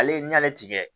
Ale n'i y'ale tigɛ